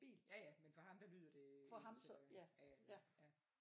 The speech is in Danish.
Ja ja men for ham der lyder det øh ens af ja